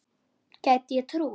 Gæti ég trúað.